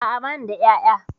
A'a bani da ƴaƴa